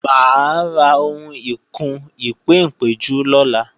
Mà á ra ohun ìkùn-ìpéǹpéjú lọ́la